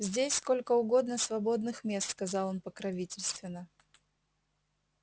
здесь сколько угодно свободных мест сказал он покровительственно